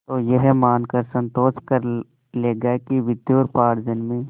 तो यह मानकर संतोष कर लेगा कि विद्योपार्जन में